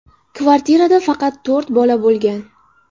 Kvartirada faqat to‘rt bola bo‘lgan.